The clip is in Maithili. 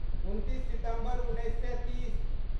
उनतीस सितम्बर उन्नैस सए तीस